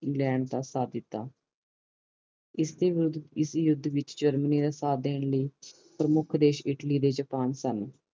England ਦਾ ਸਾਥ ਦਿੱਤੋ ਇਸਦੇ ਵਿਰੁੱਧ ਇਸ ਯੂੱਧ ਵਿਚ ਜਰਮਨੀ ਦਾ ਸਾਥ ਦੇਣ ਲਈ ਪ੍ਰਮੁੱਖ ਦੇਸ਼ ਇਟਲੀ ਤੇ ਜਪਾਨ ਸਨ